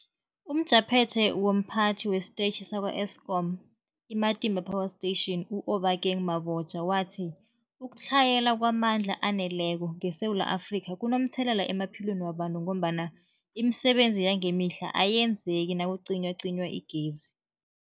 UmJaphethe womPhathi wesiTetjhi sakwa-Eskom i-Matimba Power Station u-Obakeng Mabotja wathi ukutlhayela kwamandla aneleko ngeSewula Afrika kunomthelela emaphilweni wabantu ngombana imisebenzi yangemihla ayenzeki nakucinywacinywa igezi.